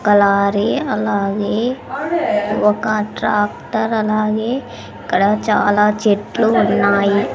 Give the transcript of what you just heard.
ఒక లారీ అలాగే ఒక ట్రాక్టర్ అలాగే ఇక్కడ చాలా చెట్లు ఉన్నాయి.